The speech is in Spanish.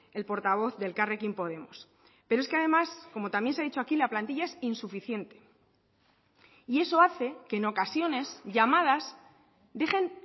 el portavoz de elkarrekin podemos pero es que además como también se ha dicho aquí la plantilla es insuficiente y eso hace que en ocasiones llamadas dejen